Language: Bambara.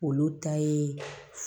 Olu ta ye